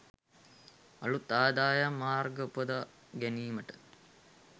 අලුත් ආදායම් මාර්ග උපදවා ගැනීමට